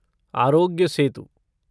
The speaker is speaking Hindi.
आरोग्य सेतु